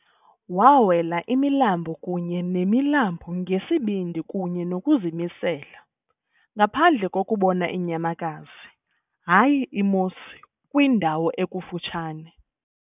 Wawela imilambo kunye nemilambo ngesibindi kunye nokuzimisela, ngaphandle kokubona inyamakazi, hayi i-moose kwindawo ekufutshane.